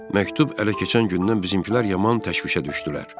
Məktub ələ keçən gündən bizimkilər yaman təşvişə düşdülər.